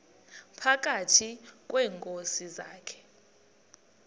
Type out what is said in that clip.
phakathi kweenkosi zakhe